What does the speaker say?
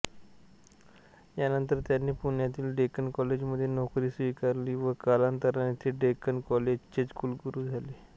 यानंतर त्यांनी पुण्यातील डेक्कन कॉलेजमध्ये नोकरी स्वीकारली व कालांतराने ते डेक्कन कॉलेजचे कुलगुरू झाले